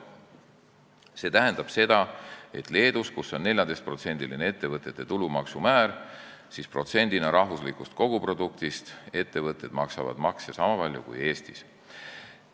See tähendab, et Leedus, kus ettevõtte tulumaksu määr on 14%, maksavad ettevõtted makse protsendina rahvuslikust koguproduktist niisama palju kui Eestis.